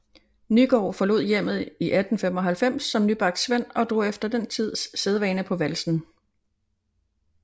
Nygaard forlod hjemmet i 1895 som nybagt svend og drog efter den tids sædvane på valsen